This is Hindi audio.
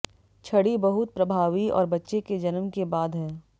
छड़ी बहुत प्रभावी और बच्चे के जन्म के बाद है